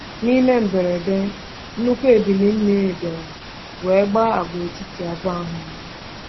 N’ime mberede, nnukwu ebili mmiri bịara were gbaa agwaetiti abụọ ahụ mmiri.